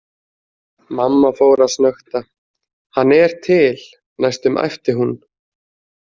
Mamma fór að snökta: Hann er til, næstum æpti hún.